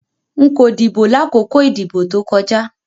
Nko dibo lakoko idibo to koja